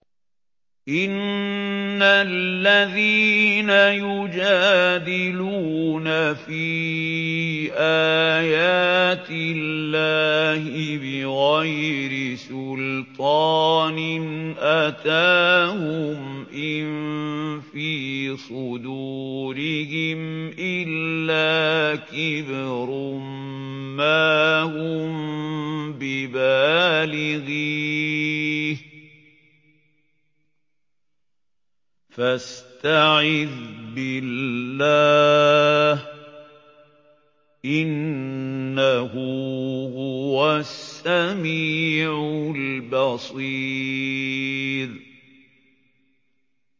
إِنَّ الَّذِينَ يُجَادِلُونَ فِي آيَاتِ اللَّهِ بِغَيْرِ سُلْطَانٍ أَتَاهُمْ ۙ إِن فِي صُدُورِهِمْ إِلَّا كِبْرٌ مَّا هُم بِبَالِغِيهِ ۚ فَاسْتَعِذْ بِاللَّهِ ۖ إِنَّهُ هُوَ السَّمِيعُ الْبَصِيرُ